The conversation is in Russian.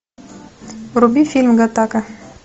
вруби фильм гаттака